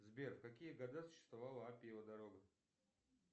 сбер в какие года существовала апиева дорога